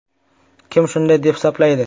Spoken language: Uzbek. Kim shunday deb hisoblaydi?